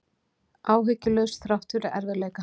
Áhyggjulaus þrátt fyrir erfiðleika